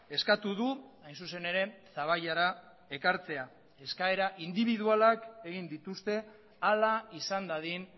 eskatu du hain zuzen ere zaballara ekartzea eskaera indibidualak egin dituzte hala izan dadin